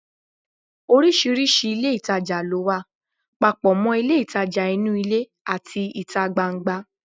Oríṣiríṣi ilé ìtajà ló wà, papọ̀ mọ́ ilé ìtajà inú ilé àti ìta gbangba